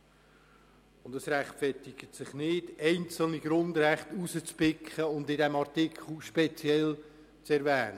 Es ist nicht gerechtfertigt, einzelne Grundrechte herauszupicken und in diesem Artikel speziell zu erwähnen.